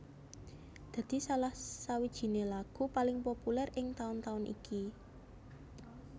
dadi salah sawijiné lagu paling populer ing taun taun iki